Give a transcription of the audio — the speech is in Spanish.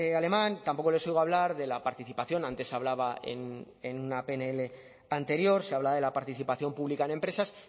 alemán tampoco les oigo hablar de la participación antes hablaba en una pnl anterior se hablaba de la participación pública en empresas